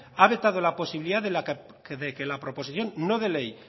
ha vetado la posibilidad de que la proposición no de ley